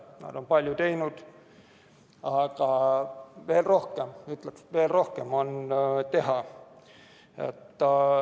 Nad on palju teinud, aga veel rohkem, ütleksin, veel rohkem on teha.